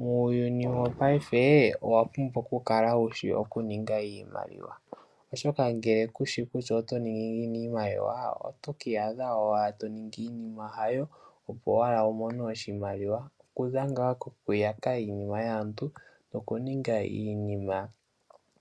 Muuyuni wo payife owapumbwa okukala wushi nkene wuna oku ninga iimaliwa, oshoka ngele kushi kutya iimaliwa ohayi ningwa ngiini otokiiyadha ashike toningi iinima haayo opo owala wiimone iimaliwa, okuza ngaa kokuyaka iinima yaantu no kuninga iinima